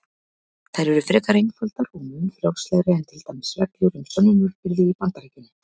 Þær eru frekar einfaldar og mun frjálslegri en til dæmis reglur um sönnunarbyrði í Bandaríkjunum.